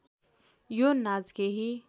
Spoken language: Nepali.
यो नाच केही